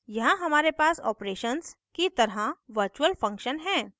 यहाँ हमारे पास operations की तरह virtual function है